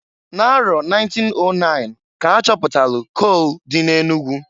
N'arọ 1909 k'a chapụtalụ kol dị n'Enugu.